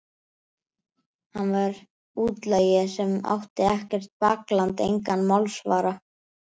Hann var útlagi sem átti ekkert bakland, engan málsvara.